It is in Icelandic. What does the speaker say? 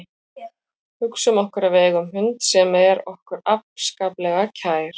Hugsum okkur að við eigum hund sem er okkur afskaplega kær.